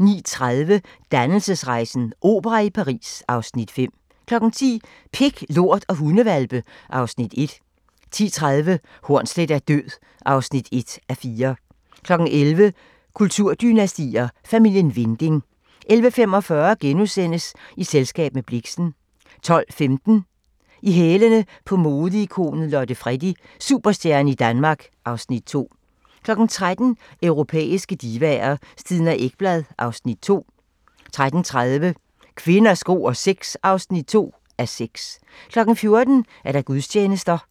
09:30: Dannelsesrejsen - opera i Paris (Afs. 5) 10:00: Pik, lort og hundehvalpe (Afs. 1) 10:30: Hornsleth er død (1:4) 11:00: Kulturdynastier: Familien Winding 11:45: I selskab med Blixen * 12:15: I hælene på modeikonet Lotte Freddie: Superstjerne i Danmark (Afs. 2) 13:00: Europæiske divaer – Stina Ekblad (Afs. 2) 13:30: Kvinder, sko og sex (2:6) 14:00: Gudstjenester